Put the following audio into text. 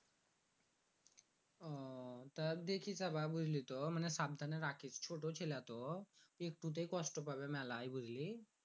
তাও দেখিস আবার বুঝলিতো সাবধানের রাখিস। ছোট ছেলে তো একটুতেই কষ্ট পাবে মেলাই বুঝলি?